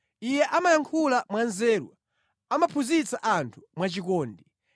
Iye amayankhula mwanzeru, amaphunzitsa anthu mwachikondi.